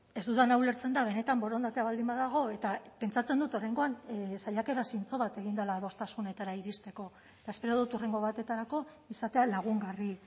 ez dudana ulertzen da benetan borondatea baldin badago eta pentsatzen dut oraingoan saiakera zintzo bat egin dela adostasunetara iristeko eta espero dut hurrengo batetarako izatea lagungarri